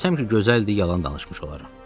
Desəm ki, gözəldir, yalan danışmış olaram.